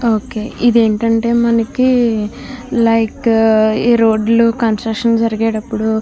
okay ఇది ఏంటంటే మనకి లైక్ ఈ రోడ్లు కన్స్ట్రక్షన్ జరిగేటప్పుడు --